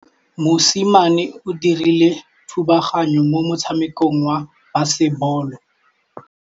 Mosimane o dirile thubaganyô mo motshamekong wa basebôlô.